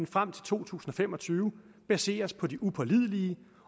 frem til to tusind og fem og tyve baseres på de upålidelige